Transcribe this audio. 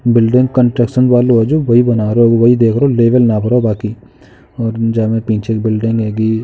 Building construction वालो हो जो वही बना रहो वही देख रहो लेवल नाप रहो बाकि और जहाँ में पीछे एक बिल्डिंग हेगी।